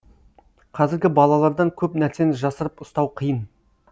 қазіргі балалардан көп нәрсені жасырып ұстау қиын